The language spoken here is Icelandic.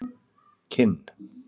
Kinn